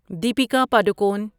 Deepika Padukone